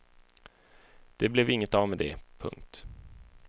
Det blev inget av med det. punkt